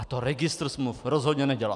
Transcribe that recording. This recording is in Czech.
A to registr smluv rozhodně nedělá!